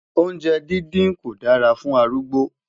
oúnjẹ dindin kò dára fún arúgbó